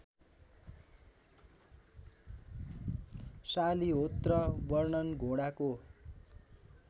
शालिहोत्र वर्णन घोडाको